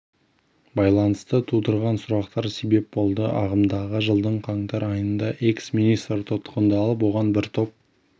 байланысты туындаған сұрақтар себеп болды ағымдағы жылдың қаңтар айнында экс министр тұтқындалып оған бір топ